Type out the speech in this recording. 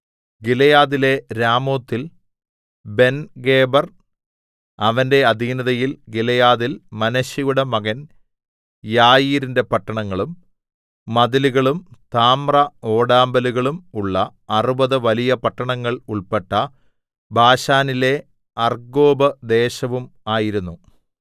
ഗിലെയാദിലെ രാമോത്തിൽ ബെൻഗേബെർ അവന്റെ അധീനതയിൽ ഗിലെയാദിൽ മനശ്ശെയുടെ മകൻ യായീരിന്റെ പട്ടണങ്ങളും മതിലുകളും താമ്രഓടാമ്പലുകളും ഉള്ള അറുപത് വലിയ പട്ടണങ്ങൾ ഉൾപ്പെട്ട ബാശാനിലെ അർഗ്ഗോബ് ദേശവും ആയിരുന്നു